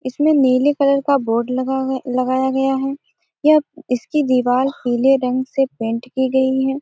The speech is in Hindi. इसमें नीले कलर का बोर्ड लगा है लगाया गया है। यह इसकी दीवाल पिले रंग से पेंट की गई है।